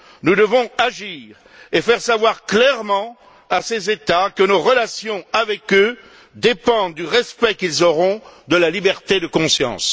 Nous devons agir et faire savoir clairement à ces États que nos relations avec eux dépendent du respect qu'ils auront de la liberté de conscience.